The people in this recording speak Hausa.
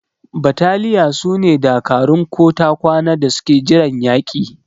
Battaliya sune dakarun ko ta kwana da suke jiran yaki.